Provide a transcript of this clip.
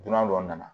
Dunan dɔ nana